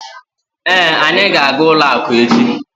Èé, anyị ga aga ụlọ akụ echi